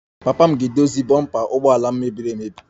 Papa m ga-edozi bompa ụgbọ ala m mebiri emebi